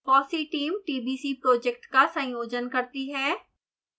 fossee team tbc project का संयोजन करती है